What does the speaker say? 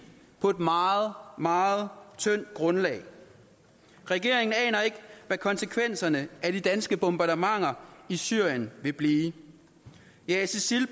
på et meget meget tyndt grundlag regeringen aner ikke hvad konsekvenserne af de danske bombardementer i syrien vil blive jages isil